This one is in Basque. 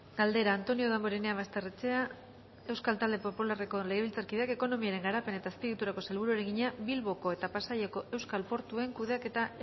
galdera antonio damborenea basterrechea euskal talde popularreko legebiltzarkideak ekonomiaren garapen eta azpiegituretako sailburuari egina bilboko eta pasaiako euskal portuen kudeaketa